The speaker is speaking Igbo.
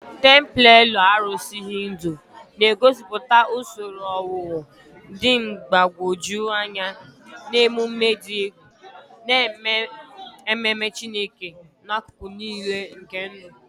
Templelọ arụsị Hindu na-egosipụta usoro owuwu dị mgbagwoju anya na emume dị egwu, na-eme ememe Chineke n'akụkụ niile nke ndụ.